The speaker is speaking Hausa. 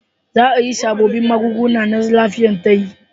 Za a yi sabobbin magunguna na lafiyar tayi